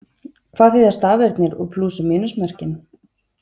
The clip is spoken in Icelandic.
Hvað þýða stafirnir og plús- og mínusmerkin?